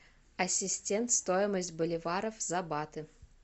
ассистент стоимость боливаров за баты